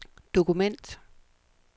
dokument